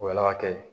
O ala k'a kɛ